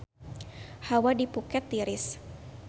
Hawa di Phuket tiris